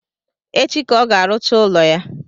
Echi ka ọ ga-arụcha ụlọ ya